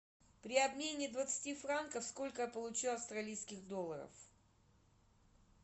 при обмене двадцати франков сколько я получу австралийских долларов